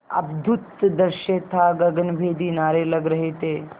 अद्भुत दृश्य था गगनभेदी नारे लग रहे थे